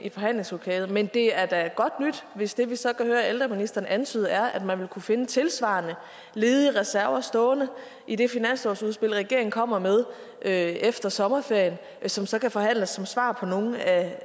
i forhandlingslokalet men det er da godt nyt hvis det vi så kan høre ældreministeren antyder er at man vil kunne finde tilsvarende ledige reserver stående i det finanslovsudspil regeringen kommer med efter sommerferien som så kan forhandles som svar på nogle af